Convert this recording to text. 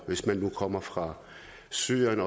hvis man nu kommer fra syrien